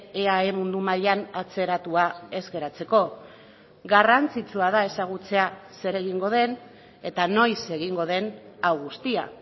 eae mundu mailan atzeratua ez geratzeko garrantzitsua da ezagutzea zer egingo den eta noiz egingo den hau guztia